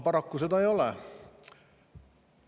Paraku seda ei.